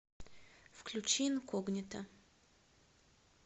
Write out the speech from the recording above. включи инкогнито